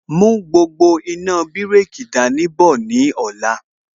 Mú gbogbo iná bireki dání bọ̀ ní ọ̀la